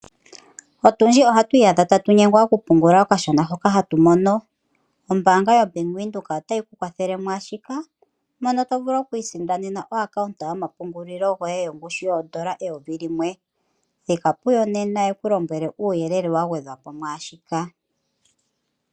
Aakwashigwana oyendji ohaayi adha taya nyengwa okupungula okashona hoka haya mono. Ombaanga (Bank Windhoek) otayi kwathele mwaashika mono to vulu okwiisindanena okakalata komapungulilo kongushu yeedola eyovi limwe (N$1000.00). Thika puyo nena yeku lombwele uuyelele awuhe.